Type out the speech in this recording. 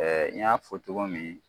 n y'a fɔ cogo min